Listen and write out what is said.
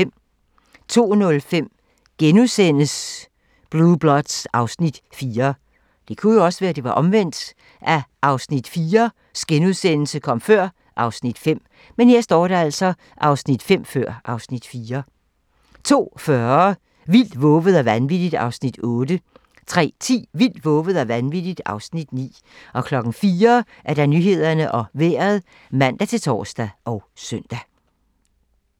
02:05: Blue Bloods (Afs. 4)* 02:40: Vildt, vovet og vanvittigt (Afs. 8) 03:10: Vildt, vovet og vanvittigt (Afs. 9) 04:00: Nyhederne og Vejret (man-tor og søn)